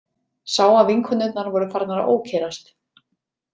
Sá að vinkonurnar voru farnar að ókyrrast.